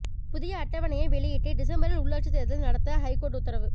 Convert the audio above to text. புதிய அட்டவணையை வெளியிட்டு டிசம்பரில் உள்ளாட்சித் தேர்தல் நடத்த ஹைகோர்ட் உத்தரவு